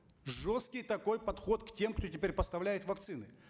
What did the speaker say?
жесткий такой подход к тем кто теперь поставляет вакцины